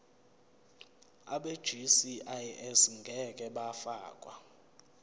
abegcis ngeke bafakwa